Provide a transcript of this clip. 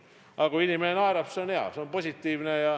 Aga kui inimene naerab, siis see on hea, see on positiivne.